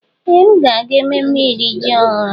Ee! M ga-aga ememme iri ji ọhụrụ.